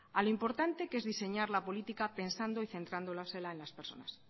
al importante que es diseñar la política pensando y centrándoselas a las personas